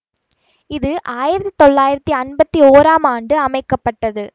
இது ஆயிரத்தி தொள்ளாயிரத்தி அம்பத்தி ஒறாம் ஆண்டு அமைக்க பட்டது